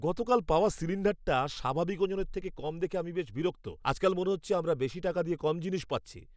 গতকাল পাওয়া সিলিণ্ডারটা স্বাভাবিক ওজনের থেকে কম দেখে আমি বেশ বিরক্ত। আজকাল মনে হচ্ছে আমরা বেশি টাকা দিয়ে কম জিনিস পাচ্ছি!